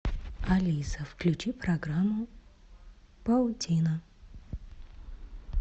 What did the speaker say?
алиса включи программу паутина